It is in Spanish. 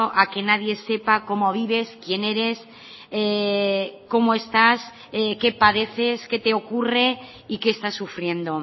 a que nadie sepa cómo vives quién eres cómo estás qué padeces qué te ocurre y qué estás sufriendo